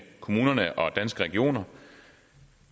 kommunerne og danske regioner